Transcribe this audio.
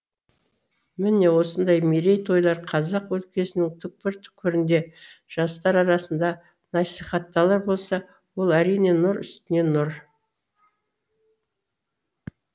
міне осындай мерей тойлар қазақ өлкесінің түкпір түкпірінде жастар арасында насихатталар болса ол әрине нұр үстіне нұр